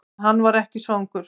En hann var ekki svangur.